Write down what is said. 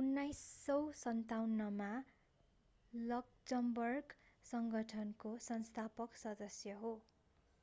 1957 मा लक्जमबर्ग सङ्गठनको संस्थापक सदस्य हो